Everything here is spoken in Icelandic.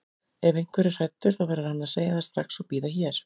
Ef einhver er hræddur þá verður hann að segja það strax og bíða hér.